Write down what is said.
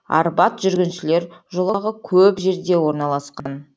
арбат жүргіншілер жолағы көп жерде орналасқан